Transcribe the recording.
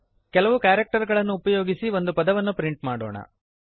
ಕೆಲವು ಕ್ಯಾರಕ್ಟರ್ ಗಳನ್ನು ಉಪಯೋಗಿಸಿ ಒಂದು ಪದವನ್ನು ಪ್ರಿಂಟ್ ಮಾಡೋಣ